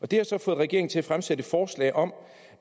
det har så fået regeringen til at fremsætte et forslag om